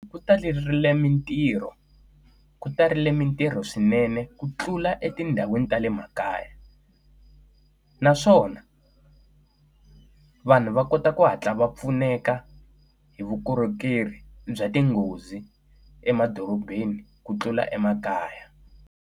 Ku taleriwile mitirho ku ta rile mitirho swinene ku tlula etindhawini ta le makaya. Naswona vanhu va kota ku hatla va pfuneka hi vukorhokeri bya tinghozi emadorobeni ku tlula emakaya.